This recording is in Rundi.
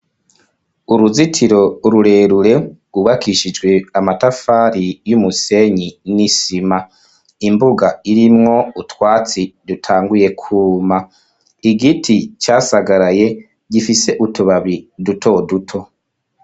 Uruzitiro rurerure, rwubakishijwe amatafari, y'umusenyi n'isima; imbuga, irimwo utwatsi, dutanguye kwuma; igiti casagaraye, gifise utubabi, duto duto.